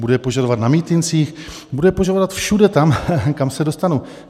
Budu je požadovat na mítincích, budu je požadovat všude tam, kam se dostanu.